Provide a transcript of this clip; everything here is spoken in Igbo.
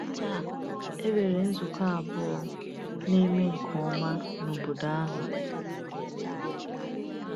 Taa, e nwere nzukọ abụọ na-eme nke ọma n’obodo ahụ.